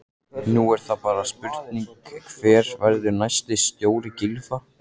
Nú er það bara spurning hver verður næsti stjóri Gylfa?